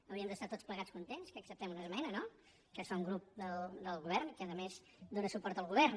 hauríem d’estar tots plegats contents que acceptem una esmena no que fa un grup del govern que a més dóna suport al govern